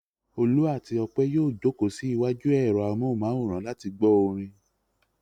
Olú àti Ọpẹ́ yóò jókòó sí iwájú ẹ̀rọ amóhùmáwòhán láti gbọ́ orin.